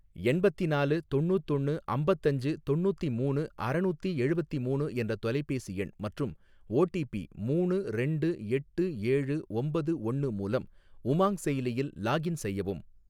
எண்பத்திநாலு தொண்ணூத்தொன்னு அம்பத்தஞ்சு தொண்ணூத்திமூணு அறநூத்தி எழுவத்திமூணு என்ற தொலைபேசி எண் மற்றும் ஓடிபி மூணு ரெண்டு எட்டு ஏழு ஒம்பது ஒன்னு மூலம் உமாங் செயலியில் லாகின் செய்யவும்.